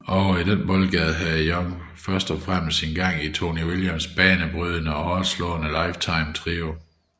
Ovre i den boldgade havde Young havde først og fremmest sin gang i Tony Williams banebrydende og hårdtslående Lifetime trio